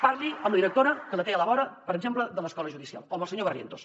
parli amb la directora que la té a la vora per exemple de l’escola judicial o amb el senyor barrientos